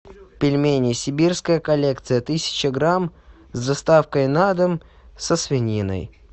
пельмени сибирская коллекция тысяча грамм с доставкой на дом со свининой